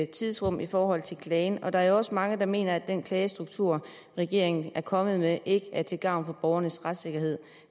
tidsrum i forhold til klagen og der er jo også mange der mener at den klagestruktur regeringen er kommet med ikke er til gavn for borgernes retssikkerhed